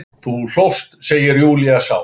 Þú hlóst, segir Júlía sár.